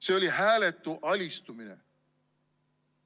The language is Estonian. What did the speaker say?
See oli hääletu alistumine.